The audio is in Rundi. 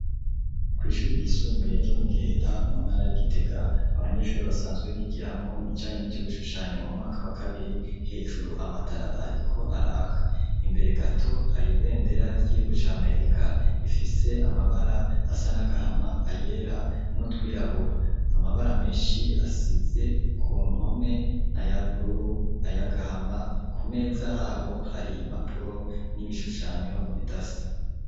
Kw'ishuri ryisumbuye ryo mu giheta mu ntara ya gitega abanyeshure basanzwe bigiramwo ibijanye nivyo gushushanya mu mwaka wa kabiri hejuru amatara ariko araka imbere gato hari ibendera ry'igihugu cya Amerika ifise amabara asa nagahama ayera n'utwirabura, amabara menshi asize ku mpome na y'ubururu ayagahama ku meza habo hari impapuro n'ibishushanyo bidasa.